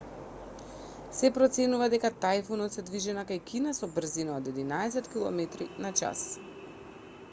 се проценува дека тајфунот се движи накај кина со брзина од единаесет километри на час